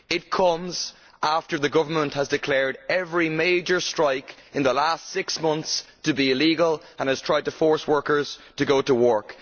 It comes after the government has declared every major strike in the last six months to be illegal and has tried to force workers to go to work.